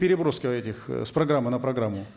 переброска этих э с программы на программу